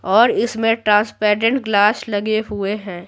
और इसमें transparent glass लगे हुए हैं।